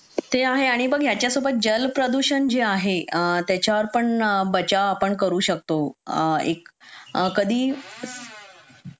ते आहे आणि याच्यासोबत जल प्रदूषण जे आहे त्याच्यावर पण आपण बचाव करू शकतो कधी